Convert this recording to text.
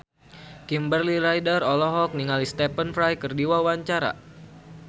Kimberly Ryder olohok ningali Stephen Fry keur diwawancara